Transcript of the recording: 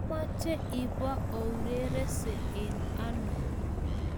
Omache ipo urerense eng' ano?